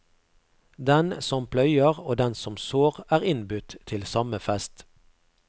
Den som pløyer og den som sår er innbudt til samme fest.